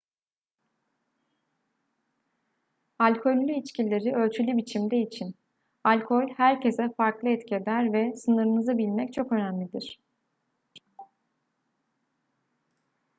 alkollü içkileri ölçülü biçimde için alkol herkese farklı etki eder ve sınırınızı bilmek çok önemlidir